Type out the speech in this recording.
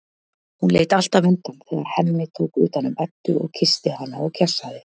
Hún leit alltaf undan þegar Hemmi tók utan um Eddu og kyssti hana og kjassaði.